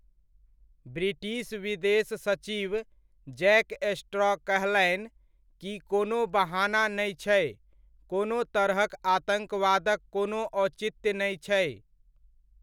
British विदेश सचिव Jack Straw कहलनि कि कोनो बहाना नै छै, कोनो तरहक आतङ्कवादक कोनो औचित्य नै छै।